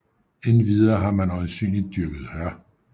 Endvidere har man øjensynligt dyrket hør